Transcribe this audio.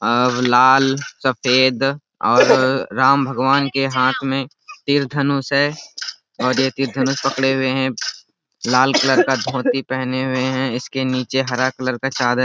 और लाल सफेद और राम भगवान के हाथ मे तीर धनुष है और ये तीर धनुष पकड़े हुए लाल कलर का धोती पहने हुए है इसके नीचे हर कलर का चादर--